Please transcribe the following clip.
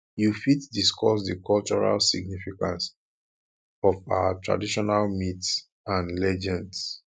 you fit discuss di cultural significance of our traditional myths and legends